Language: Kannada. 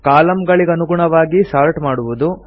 ಕಾಲಂಗಳಿಗನುಗುಣವಾಗಿ ಸಾರ್ಟ್ ಮಾಡುವುದು